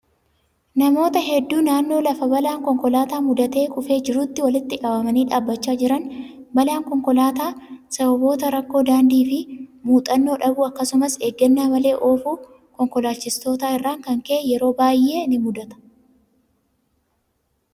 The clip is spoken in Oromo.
Namoota hedduu naannoo lafa balaan konkolaataa mudatee kufee jiruutti walitti qabamanii dhaabachaa jiran. Balaan konkolaataa sababoota rakkoo daandii fi muuxannoo dhabuu akkasumas eeggannaa malee oofuu konkolaachistootaa irraan kan ka'e yeroo baay'ee ni mudata.